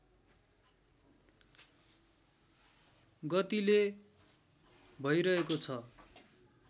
गतिले भइरहेको छ